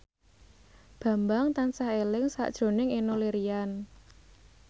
Bambang tansah eling sakjroning Enno Lerian